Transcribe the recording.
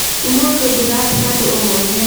ũmũthĩ ndirathiĩ handũ ohothe